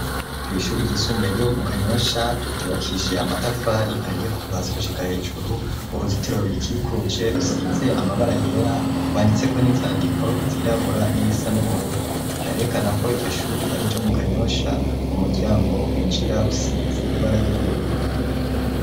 Kw'ishuri ryisumbe ryo mu kanyosha ryubakishe amatafari ariye kuvasi gushika hejuru uruzitiro rurikikuje rusize amabara yera rwanditse ko n'insandiko zirabura n'irisa n'ubururu, harerekana ko iryo shuri ari ryo mu kanyosha umuryango winjira usize ibara ry'ubururu.